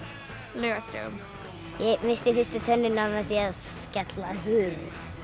laugardögum ég missti fyrstu tönnina með því að skella hurð